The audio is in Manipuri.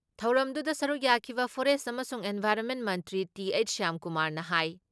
ꯊꯧꯔꯝꯗꯨꯨꯗ ꯁꯔꯨꯛ ꯌꯥꯈꯤꯕ ꯐꯣꯔꯦꯁ ꯑꯃꯁꯨꯡ ꯏꯟꯚꯥꯏꯔꯣꯟꯃꯦꯟ ꯃꯟꯇ꯭ꯔꯤ ꯇꯤ.ꯍꯩꯆ. ꯁ꯭ꯋꯥꯝꯀꯨꯃꯥꯔꯅ ꯍꯥꯏ